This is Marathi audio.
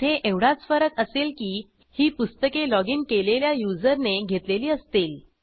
इथे एवढाच फरक असेल की ही पुस्तके लॉगिन केलेल्या युजरने घेतलेली असतील